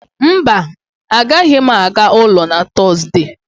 mba, agaghị m aga ụlọ na Tọzdee